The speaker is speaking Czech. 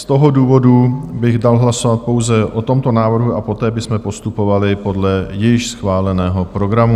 Z toho důvodu bych dal hlasovat pouze o tomto návrhu a poté bychom postupovali podle již schváleného programu.